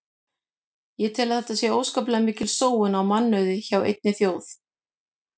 Ég tel að þetta sé óskaplega mikil sóun á mannauði hjá einni þjóð.